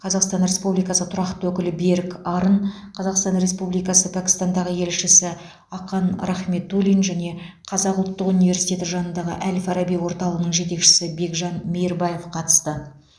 қазақстан республикасы тұрақты өкілі берік арын қазақстан республикасы пәкістандағы елшісі ақан рахметуллин және қазақ ұлттық университеті жанындағы әл фараби орталығының жетекшісі бекжан мейірбаев қатысты